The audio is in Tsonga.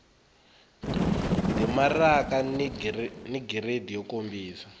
timaraka ni giridi yo kombisa